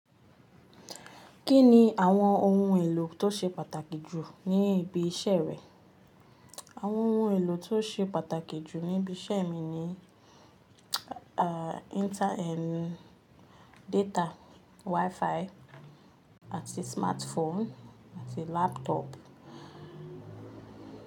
Kí ni àwọn ohun èlò tó ṣe pàtàkì jù ní ibi iṣẹ́ rẹ? Àwọn ohun èlò tó ṣe pàtàkì jù ní ibi iṣẹ́ mi ni, ah, internet data, Wi-Fi, àti smartphone, àti laptop.